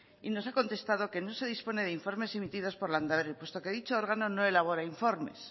y nos ha contestado que no se dispone de informes emitidos por landaberri puesto que dicho órgano no elabora informes